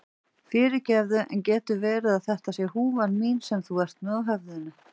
Fyrirgefðu, en getur verið að þetta sé húfan mín sem þú ert með á höfðinu?